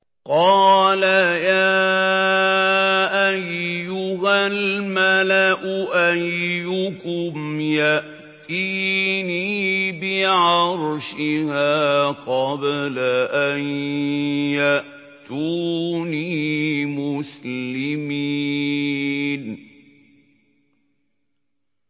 قَالَ يَا أَيُّهَا الْمَلَأُ أَيُّكُمْ يَأْتِينِي بِعَرْشِهَا قَبْلَ أَن يَأْتُونِي مُسْلِمِينَ